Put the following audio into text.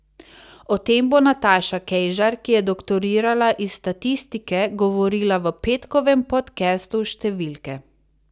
O tem bo Nataša Kejžar, ki je doktorirala iz statistike, govorila v petkovem podcastu Številke.